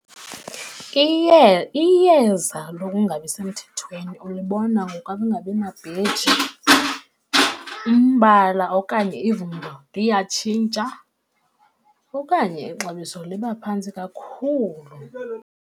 Iyeza lokungabi semthethweni ulibona ngokungabinabheji, umbala okanye ivumba liyatshintsha, okanye ixabiso liba phantsi kakhulu.